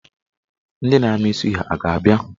Ndị ga-amị suya a ga-abịa?